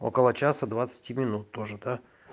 около часа двадцати минут тоже да